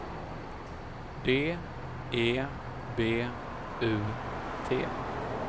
D E B U T